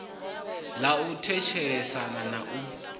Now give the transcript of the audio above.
ḽa u thetshelesa na u